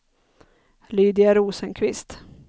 Lydia Rosenqvist